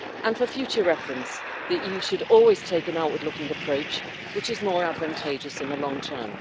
For future reference, the EU should always take an outward looking approach, which is more advantageous in the long term.